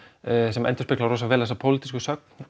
sem endurspeglar rosalega vel þessa pólitísku sögn